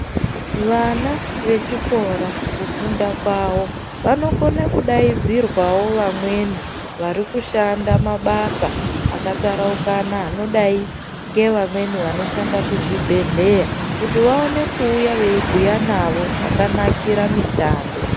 Vana vechikora kufunda kwavo vanokona kudaidzirwavo vamwe vari kushanda mabasa akataraukana anodai ngevamweni vanoshanda kuzvibhedhleya. Kuti vaone kuuya veibhuya navo zvakanakire mishando.